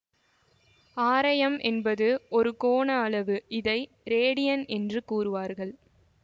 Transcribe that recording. ஆரையம் என்பது ஒரு கோண அளவு இதை ரேடியன் என்றும் கூறுவர்